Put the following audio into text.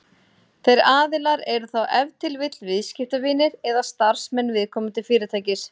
Þeir aðilar eru þá ef til vill viðskiptavinir eða starfsmenn viðkomandi fyrirtækis.